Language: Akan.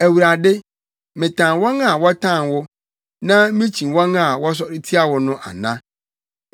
Awurade, metan wɔn a wɔtan wo, na mikyi wɔn a wɔsɔre tia wo no ana?